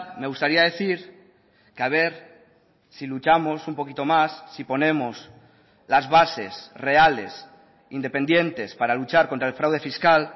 me gustaría decir que a ver si luchamos un poquito más si ponemos las bases reales independientes para luchar contra el fraude fiscal